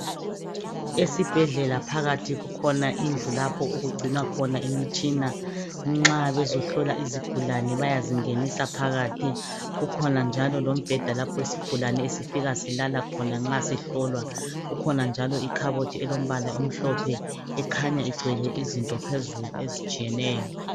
Esibhedlela phakathi kukhona indlu lapho okugcinwa imitshina. Nxa bezohlola izigulane bayazingenisa phakathi kukhona njalo lombheda lapha isigulane esifika silala khona nxa sihlolwa kukhona njalo ikhabothi elombala omhlophe ekhanya igcwele izinto phezulu ezitshiyeneyo.